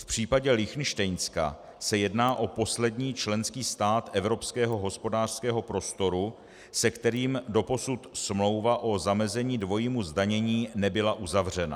V případě Lichtenštejnska se jedná o poslední členský stát Evropského hospodářského prostoru, se kterým doposud smlouva o zamezení dvojímu zdanění nebyla uzavřena.